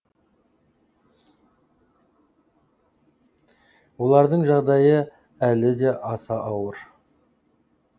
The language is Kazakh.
олардың жағдайы әлі де аса ауыр